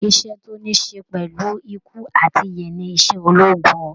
Iṣẹ́ tó ní ṣe pẹ̀lú ikú àti ìyè ni iṣẹ́ ológun